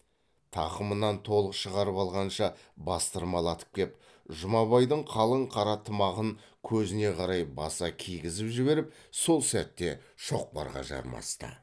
тақымынан толық шығарып алғанша бастырмалатып кеп жұмабайдың қалың қара тымағын көзіне қарай баса кигізіп жіберіп сол сәтте шоқпарға жармасты